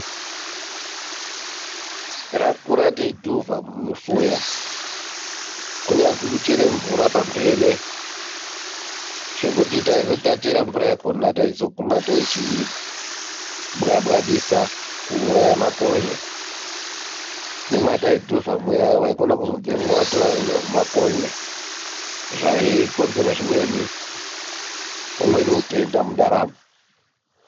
Takakura teidhuvha mumufuya kunyazwi kuchera mvura pamhene zvekuti taizoti tachera mvura yakhona taizoguma tochibwabwadisa kuuraya makonye nemwataidhuvha muya waikona kuzobvamo watorana nehumakonye zvaikonzera zvimweni, umweni utenda mundaramo.